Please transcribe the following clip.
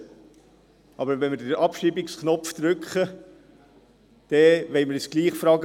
Wenn wir jedoch den Abschreibungsknopf drücken, so wollen wir uns doch auch die Frage stellen: